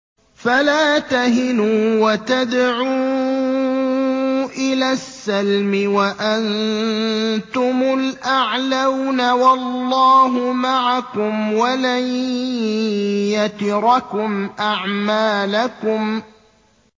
فَلَا تَهِنُوا وَتَدْعُوا إِلَى السَّلْمِ وَأَنتُمُ الْأَعْلَوْنَ وَاللَّهُ مَعَكُمْ وَلَن يَتِرَكُمْ أَعْمَالَكُمْ